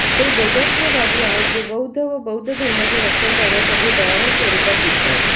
ते बौद्धत्ववादी आहेत जे बौद्ध व बौद्ध धर्माचे रक्षण करण्यासाठी भयानक स्वरूपात दिसतात